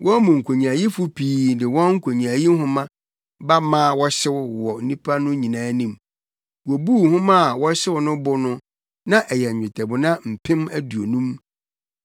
Wɔn mu nkonyaayifo pii de wɔn nkonyaayi nhoma ba maa wɔhyew wɔ nnipa no nyinaa anim. Wobuu nhoma a wɔhyew no bo no na ɛyɛ nnwetɛbona mpem aduonum.